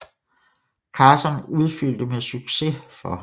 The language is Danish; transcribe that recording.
Carson udfyldte med succes for ham